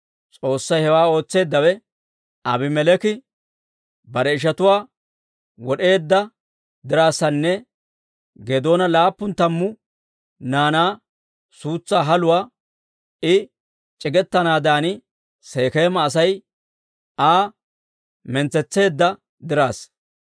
S'oossay hewaa ootseeddawe, Aabimeleeki bare ishatuwaa wod'eedda diraassanne Geedoona laappun tammu naanaa suutsaa haluwaa I c'igetanaadan Sekeema Asay Aa mintsetseedda dirassa.